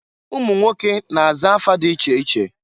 Umunwoke na-aza afa di iche iche.